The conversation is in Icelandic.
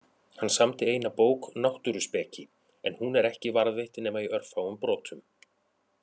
Hann samdi eina bók, Náttúruspeki, en hún er ekki varðveitt nema í örfáum brotum.